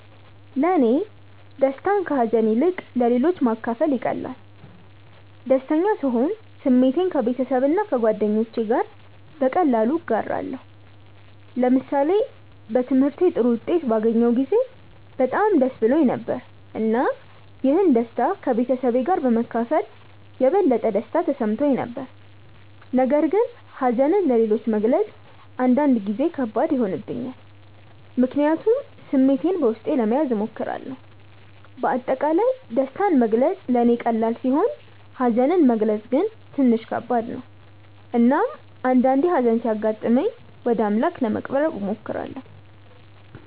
ለእኔ ደስታን ከሀዘን ይልቅ ለሌሎች ማካፈል ይቀላል። ደስተኛ ስሆን ስሜቴን ከቤተሰብና ከጓደኞቼ ጋር በቀላሉ እጋራለሁ። ለምሳሌ በትምህርቴ ጥሩ ውጤት ባገኘሁ ጊዜ በጣም ደስ ብሎኝ ነበር፣ እና ይህን ደስታ ከቤተሰቤ ጋር በመካፈል የበለጠ ደስታ ተሰምቶኝ ነበር። ነገር ግን ሀዘንን ለሌሎች መግለጽ አንዳንድ ጊዜ ከባድ ይሆንብኛል፣ ምክንያቱም ስሜቴን በውስጤ ለመያዝ እሞክራለሁ። በአጠቃላይ ደስታን መግለጽ ለእኔ ቀላል ሲሆን ሀዘንን መግለጽ ግን ትንሽ ከባድ ነው። እናም አንዳአንዴ ሀዘን ሲያጋጥመኝ ወደ አምላክ ለመቅረብ እሞክራለሁ።